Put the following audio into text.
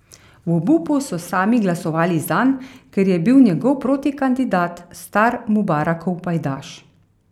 V obupu so sami glasovali zanj, ker je bil njegov protikandidat star Mubarakov pajdaš.